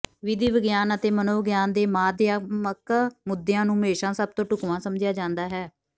ਵਿਧੀ ਵਿਗਿਆਨ ਅਤੇ ਮਨੋਵਿਗਿਆਨ ਦੇ ਮਾਧਿਅਮਿਕ ਮੁੱਦਿਆਂ ਨੂੰ ਹਮੇਸ਼ਾਂ ਸਭ ਤੋਂ ਢੁਕਵਾਂ ਸਮਝਿਆ ਜਾਂਦਾ ਹੈ